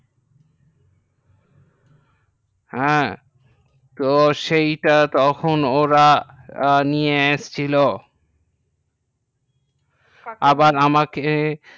হ্যাঁ তো সেইটা তখন ওরা নিয়ে এসছিল আবার আমাকে